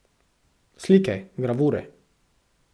Slike, gravure.